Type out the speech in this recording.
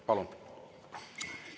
Palun!